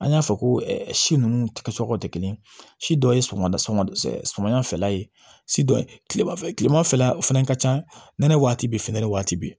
An y'a fɔ ko si nunnu kɛ sɔkɔ tɛ kelen ye si dɔ ye sɔgɔmada sɔgɔmada fɛla ye si dɔ ye kilema fɛ kilema fɛla fɛnɛ ka ca nɛnɛ waati bɛɛ finɛnɛ waati be